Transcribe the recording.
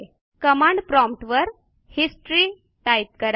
command prompt वर history type करा